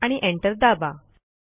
आणि एंटर दाबा